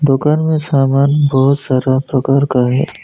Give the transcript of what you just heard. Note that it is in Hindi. दुकान में सामान बहुत सारा प्रकार का है।